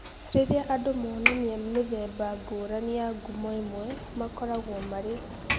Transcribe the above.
Rĩrĩa andũ monania mĩthemba ngũrani ya ngumo ĩmwe, makoragwo marĩ polymorphic.